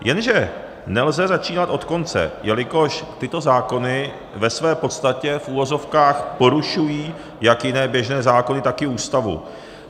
Jenže nelze začínat od konce, jelikož tyto zákony ve své podstatě v uvozovkách porušují jak jiné běžné zákony, tak i Ústavu.